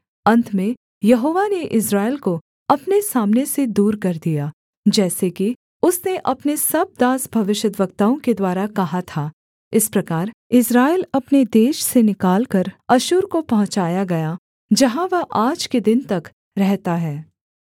अन्त में यहोवा ने इस्राएल को अपने सामने से दूर कर दिया जैसे कि उसने अपने सब दास भविष्यद्वक्ताओं के द्वारा कहा था इस प्रकार इस्राएल अपने देश से निकालकर अश्शूर को पहुँचाया गया जहाँ वह आज के दिन तक रहता है